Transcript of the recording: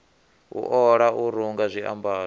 u ola u runga zwiambaro